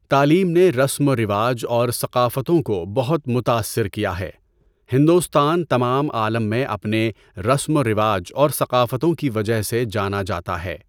تعلیم نے رسم و رواج اور ثقافتوں کو بہت متأثر کیا ہے۔ ہندوستان تمام عالم میں اپنے رسم و رواج اور ثقافتوں کی وجہ سے جانا جاتا ہے۔